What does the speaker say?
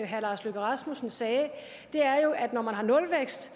herre lars løkke rasmussen sagde er jo at der når man har nulvækst